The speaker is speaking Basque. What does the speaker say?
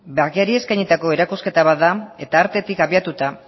bakeari eskainitako erakusketa bat da eta artetik abiatuta